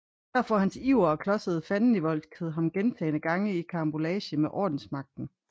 Her får hans iver og klodsede fandenivoldskhed ham gentagne gange i karambolage med ordensmagten